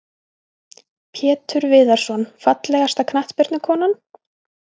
Pétur Viðarsson Fallegasta knattspyrnukonan?